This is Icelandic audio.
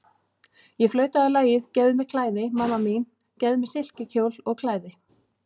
Ég flautaði lagið, gefðu mér klæði, mamma mín, gefðu mér silkikjól og klæði.